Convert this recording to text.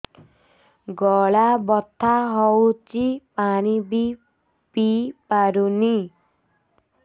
ଗଳା ବଥା ହଉଚି ପାଣି ବି ପିଇ ପାରୁନି